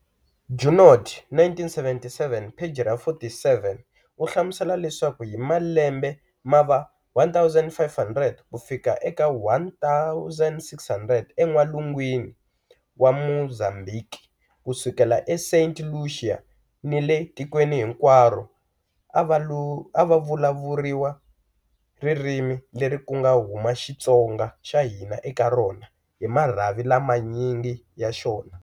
Junod, 1977-47, u hlamusela leswaku hi malembe ma va 1500 ku fika 1600 eN'walungwini wa Mozambiki ku sukela eSaint Lucia ni le tikweni hinkwaro, a ku vulavuriwa ririmi leri ku nga huma XiTsonga xa hina eka rona, hi marhavi lamanyingi ya xona.